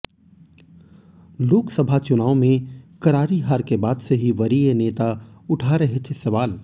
लोकसभा चुनाव में करारी हार के बाद से ही वरीय नेता उठा रहे थे सवाल